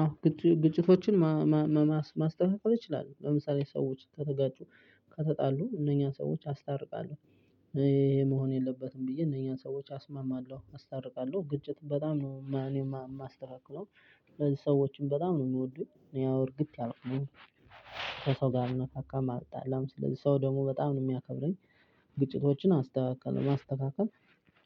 አዎ ግጭቶችን ማስተካከል ይችላለሁ ለምሳሌ ሰዎች ከተጋጩ ከተጣሉ እነኛን ሰዎች አስታርቃለሁ ይሄ መሆን የለበትም ብዬ እነኛን ሰዎች አስማማለሁ አስታርቃለሁ ግጭት በጣም ነው እኔ የማስተካክለው። ስለዚህ ሰዎችን በጣም ነው የሚወዱኝ ያው እርግት ያልኩነኝ። ሰው ጋር አልነካካም አልጣላም ሰው ደግሞ በጣም ነው የሚያከብረኝ። ግጭቶችን አስተካክላለው ማስተካከል።